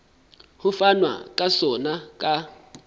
ho fanwa ka sona ka